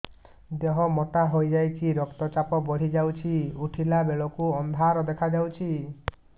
ଦେହ ମୋଟା ହେଇଯାଉଛି ରକ୍ତ ଚାପ ବଢ଼ି ଯାଉଛି ଉଠିଲା ବେଳକୁ ଅନ୍ଧାର ଦେଖା ଯାଉଛି